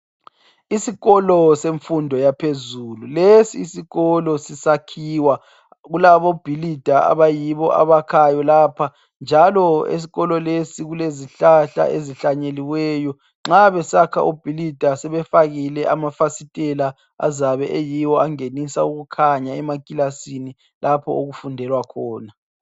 Isikolo semfundo yaphezulu. Lesisikolo sisakhiwa. Kulabobhilida abayibo abakhayo lapha, njalo esikolo lesi, kulezihlahla esihlanyeliweyo. Nxa besakha obhilida sebefakile amafasitela azabe eyiwo angenusa ukukhanya, emakilasini, lapho okufundekwa khona.